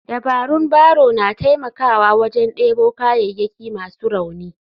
Dabarun barrow na taimakawa wajen debo kayayyaki masu rauni.